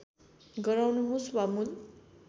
गराउनुहोस् वा मूल